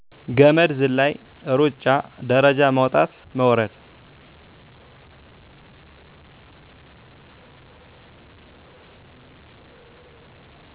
ገመድ ዝላይ፣ ሩጫ፣ ደረጃ መዉጣት መውረድ